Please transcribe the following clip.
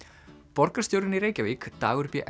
borgarstjórinn í Reykjavík Dagur b